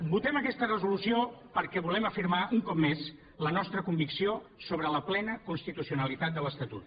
votem aquesta resolució perquè volem afirmar un cop més la nostra convicció sobre la plena constitucionalitat de l’estatut